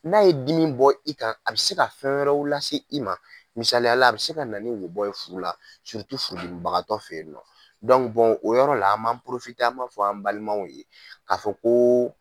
N'a ye dimi bɔ i kan a bɛ se ka fɛn wɛrɛw lase i ma misaliyala a bɛ se ka na wo bɔ furu la, furubagatɔ fɛ yen nɔ, o yɔrɔ la an b'an an b'a fɔ an balimaw ye k'a fɔ ko